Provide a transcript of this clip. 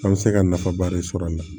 An bɛ se ka nafaba de sɔrɔ a la